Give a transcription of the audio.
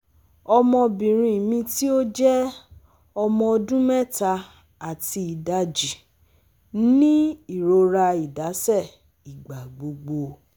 Ọmọbinrin mi ti o jẹ ọmọ ọdun mẹta ati idaji ni irora idaṣẹ igbagbogbo